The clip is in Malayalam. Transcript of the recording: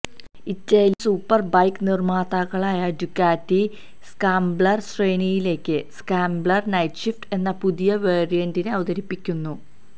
ഇറ്റാലിയന് സൂപ്പര് ബൈക്ക് നിര്മ്മാതാക്കളായ ഡ്യുക്കാറ്റി സ്ക്രാംബ്ലര് ശ്രേണിയിലേക്ക് സ്ക്രാംബ്ലര് നൈറ്റ്ഷിഫ്റ്റ് എന്ന പുതിയ വേരിയന്റിനെ അവതരിപ്പിക്കുന്നു